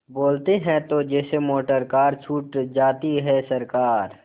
बोलते हैं तो जैसे मोटरकार छूट जाती है सरकार